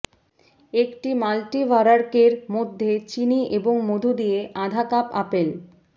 একটি মাল্টিভারার্কের মধ্যে চিনি এবং মধু দিয়ে আধা কাপ আপেল